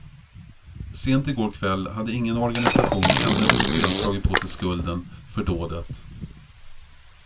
Sent igår kväll hade ingen organisation ännu officiellt tagit på sig skulden för dådet.